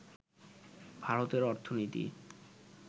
ভারতের অর্থনীতি